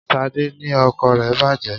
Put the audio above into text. Sade ni ọkọ̀ rẹ bàjé